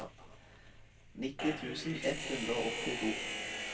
nitti tusen ett hundre og åttito